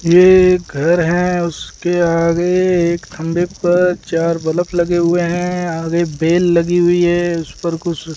ये एक घर है उसके आगे एक खंभे पर चार बल्ब लगे हुए हैं आगे बेल लगी हुई है उस पर कुछ --